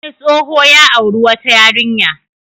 Wani tsoho ya auri wata yarinya.